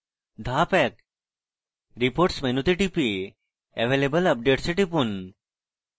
ধাপ 1: reports মেনুতে টিপে available updates এ টিপুন